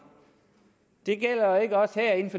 det